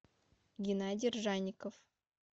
геннадий ржанников